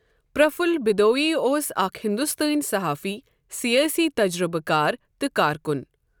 پرَفُل بِدوَئی اوس اَکھ ہنٛدوستٲنۍ صحافی، سیٲسی تجزیہ کار، تہ کارکن۔